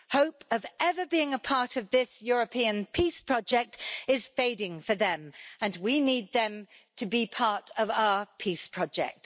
Hope of ever being a part of this European peace project is fading for them and we need them to be part of our peace project.